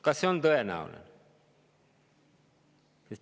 Kas see on tõenäoline?